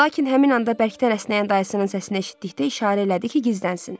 Lakin həmin anda bərkdən əsnəyən dayısının səsini eşitdikdə işarə elədi ki, gizlənsin.